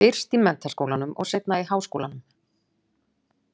Fyrst í menntaskólanum og seinna í háskólanum.